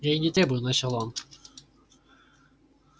и я не требую начал он